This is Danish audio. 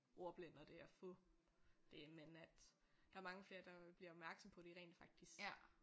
Ordblind og det at få det men at der er mange flere der bliver opmærksomme på de rent faktisk